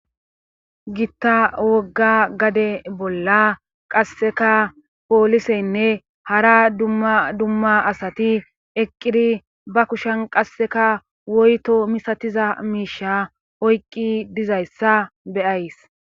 Gitta wogga gade bolla qasseka pooliseynne hara dadumma asati eqqiri ba kushan qasseka woyto misatiza miisha oyqqi dizayssa beyays.